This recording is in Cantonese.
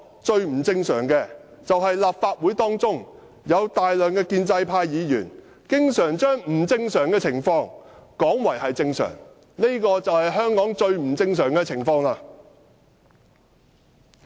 最不正常的是，立法會內有大量建制派議員經常把不正常的情況說成是正常，這便是最不正常的情況。